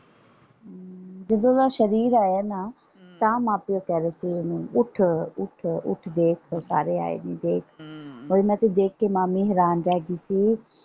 ਜਦੋਂ ਦਾ ਸਰੀਰ ਆਇਆ ਨਾ ਤਾਂ ਮਾਂ ਪਿਓ ਕਹਿ ਰਹੇ ਸੀ ਓਹਨੂੰ ਉੱਠ ਉੱਠ ਉੱਠ ਦੇਖ ਸਾਰੇ ਆਏ ਨੇ ਦੇਖ ਇੰਨਾ ਕੁਛ ਦੇਖ ਕੇ ਮਾਮੀ ਹੈਰਾਨ ਰਹਿਗੀ ਕਿ।